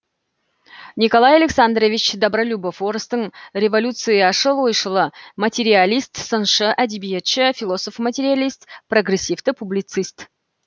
николай александрович добролюбов орыстың революцияшыл ойшылы материалист сыншы әдебиетші философ материалист прогрессивті публицист